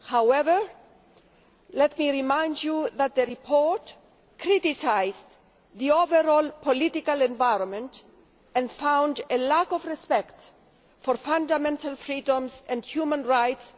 However, let me remind Members that the report criticised the overall political environment and found a lack of respect for fundamental freedoms and human rights